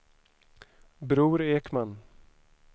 Bror Ekman